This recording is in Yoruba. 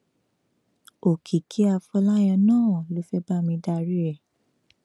òkìkí afọláyàn náà ló fẹẹ bá mi darí ẹ